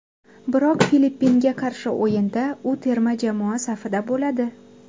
Biroq Filippinga qarshi o‘yinda u terma jamoa safida bo‘ladi.